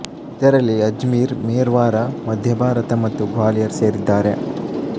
ಇದರಲ್ಲಿ ಅಜ್ಮೀರ್ ಮೆರ್ವಾರಾ ಮಧ್ಯ ಭಾರತ ಮತ್ತು ಗ್ವಾಲಿಯರ್ ಸೇರಿದ್ದಾರೆ